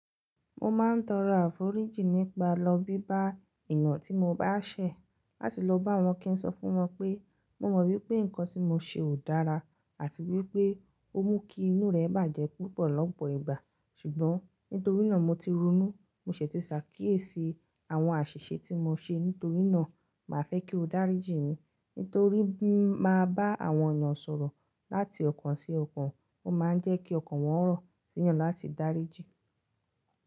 Mo máa ń tọrọ àforíjìn nípa lọ bíbá èèyàn tí mo bá ṣẹ̀ láti lọ bá wọn kí n sọ fún wọn pé, mo mọ wípé nǹkan tí mo ṣe ò dára àti wípé ó mú kí inú rẹ̀ bàjẹ́ púpọ̀ lọ́pọ̀ ìgbà. Ṣùgbọ́n nítorí náà mo ti ronú, mo ṣìti ṣàkíyèsí àwọn àṣìṣe tí mo ṣe nítorí náà, màá fẹ́ kí o dáríjì mí. Nítorí bí mo bá bá àwọn èèyàn sọ̀rọ̀ láti ọ̀kan sí ọ̀kan, ó máa ń jẹ́ kí ọkàn wọn rọ̀, sí yàn láti dáríjì.